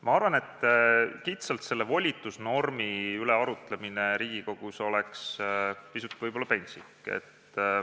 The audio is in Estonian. Ma arvan, et kitsalt selle volitusnormi üle arutlemine Riigikogus oleks võib-olla pisut pentsik.